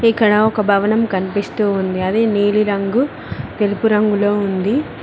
ఇక్కడ ఒక భవనం కనిపిస్తూ ఉంది అదే నీలిరంగు తెలుపు రంగులో ఉంది.